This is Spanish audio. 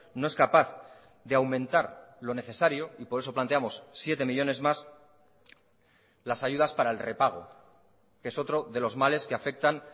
no es capaz de aumentar lo necesario y por eso planteamos siete millónes más las ayudas para el repago que es otro de los males que afectan